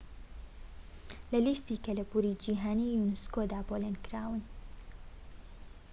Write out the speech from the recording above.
لە لیستی کەلەپوری جیھانی یونسكۆدا پۆلینکراون